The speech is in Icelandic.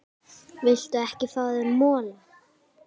Viltu ekki fá þér mola?